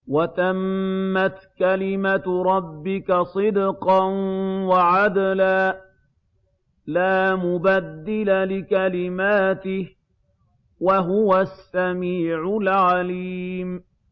وَتَمَّتْ كَلِمَتُ رَبِّكَ صِدْقًا وَعَدْلًا ۚ لَّا مُبَدِّلَ لِكَلِمَاتِهِ ۚ وَهُوَ السَّمِيعُ الْعَلِيمُ